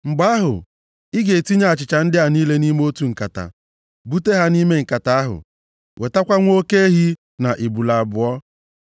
Mgbe ahụ, ị ga-etinye achịcha ndị a niile nʼime otu nkata, bute ha nʼime nkata ahụ, wetakwa nwa oke ehi, na ebule abụọ.